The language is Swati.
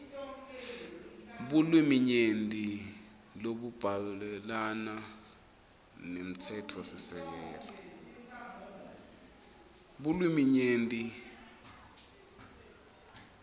bulwiminyenti lobuhambelana nemtsetfosisekelo